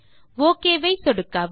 okay ஐ சொடுக்கவும்